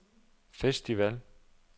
festival